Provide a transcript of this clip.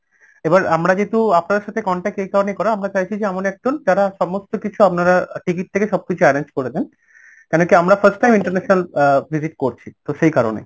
এবার আমরা যেহেতু আপনাদের সাথে contact এই কারণেই করা আমরা চাইছি যে এমন একজন যারা সমস্ত কিছু আপনারা ticket থেকে সব কিছু arrange করে দেন কেন কি আমরা first time international uh visit করছি তো সেই কারণে